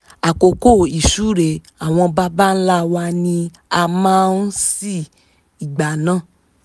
àkókò ìsúre àwọn baba ńlá wa ni a máa ń ṣí igbá náà